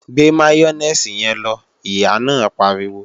Gbé máyónèsì yẹn lọ, Ìyá náà pariwo!